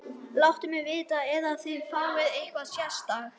Láttu mig vita ef þið fáið eitthvað sérstakt.